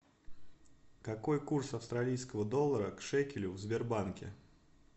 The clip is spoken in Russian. какой курс австралийского доллара к шекелю в сбербанке